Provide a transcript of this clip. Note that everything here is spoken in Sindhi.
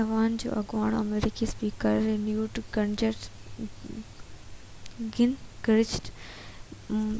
ايوان جو اڳوڻو آمريڪي اسپيڪر نيوٽ گنگرچ